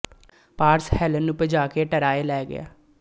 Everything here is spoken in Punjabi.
ਪਾਰਸ ਹੈਲਨ ਨੂੰ ਭਜਾ ਕੇ ਟਰਾਏ ਲੈ ਗਿਆ